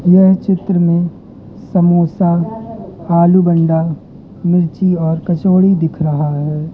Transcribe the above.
यह चित्र में समोसा आलू बंडा मिर्ची और कचौड़ी दिख रहा है।